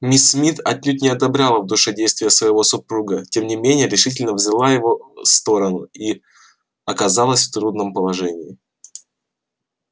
миссис мид отнюдь не одобряла в душе действия своего супруга тем не менее решительно взяла его сторону и оказалась в трудном положении